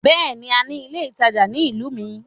Bẹ́ẹ̀ni, a ní ilé ìtajà ní ìlú mi.